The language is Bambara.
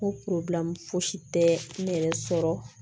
Ko fosi tɛ ne yɛrɛ sɔrɔ